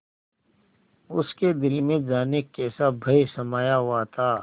उसके दिल में जाने कैसा भय समाया हुआ था